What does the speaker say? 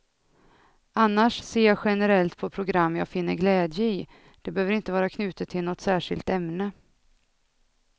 Annars ser jag generellt på program jag finner glädje i, det behöver inte vara knutet till något särskilt ämne.